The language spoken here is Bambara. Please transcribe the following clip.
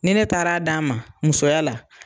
Ni ne taara d'a ma, musoya la